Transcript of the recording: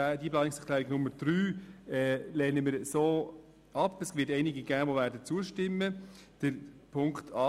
Die Planungserklärung 3 EDU/Schwarz lehnen wir in dieser Form ab, wobei es einige geben wird, die dieser zustimmen werden.